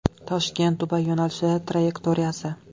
ToshkentDubay yo‘nalishi trayektoriyasi.